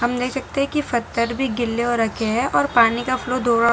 सामने देख सकते हैं की पत्थर गीले हो रखे हैं और पानी का फ्लो थोड़ा।